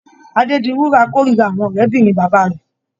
Adédiwúrà kórira àwọn ọ̀rébìnrin bàbá rẹ̀.